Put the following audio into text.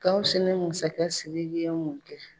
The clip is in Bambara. Gawusu ni masakɛ Siriki ye mun kɛ?